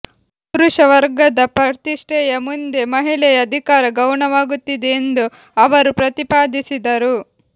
ಪುರುಷ ವರ್ಗದ ಪ್ರತಿಷ್ಠೆಯ ಮುಂದೆ ಮಹಿಳೆಯ ಅಧಿಕಾರ ಗೌಣವಾಗುತ್ತಿದೆ ಎಂದು ಅವರು ಪ್ರತಿಪಾದಿಸಿದರು